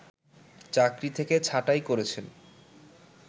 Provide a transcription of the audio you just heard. চাকরি থেকে ছাঁটাই করেছেন